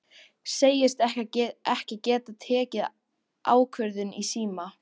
Segist ekki geta tekið ákvörðun í síma.